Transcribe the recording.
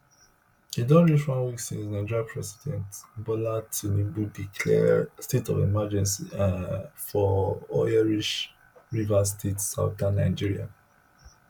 e don reach one week since nigeria president bola tinubu declare state of emergency um for oil rich rivers state southern nigeria